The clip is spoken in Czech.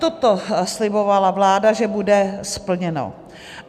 Toto slibovala vláda, že bude splněno.